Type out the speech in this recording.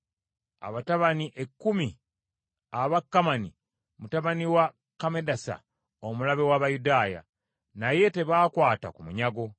abatabani ekkumi aba Kamani mutabani wa Kammedasa omulabe w’Abayudaaya. Naye tebaakwata ku munyago.